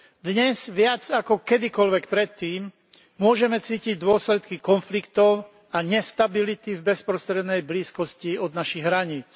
Dnes viac ako kedykoľvek predtým môžeme cítiť dôsledky konfliktov a nestability v bezprostrednej blízkosti našich hraníc.